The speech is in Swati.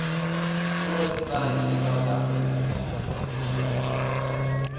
kuwebsite yesouth african